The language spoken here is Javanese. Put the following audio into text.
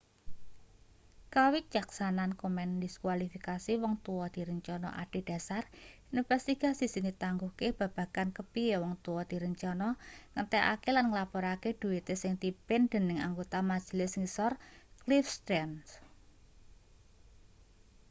kawicaksanan komen ndiskualifikasi wong tua direncana adhedhasar investigasi sing ditangguhke babagan kepiye wong tua direncana ngentekake lan nglaporake dhuite sing dipimpin dening anggota majelis ngisor cliff stearns